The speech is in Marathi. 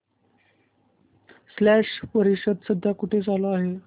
स्लश परिषद सध्या कुठे चालू आहे